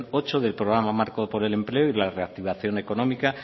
ocho del programa marco por el empleo y la reactivación económica